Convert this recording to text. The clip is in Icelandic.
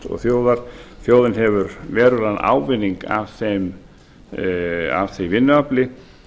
og hagvöxt og þjóðin hefur verulegan ávinning af því vinnuafli